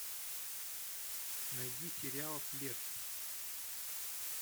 найди сериал след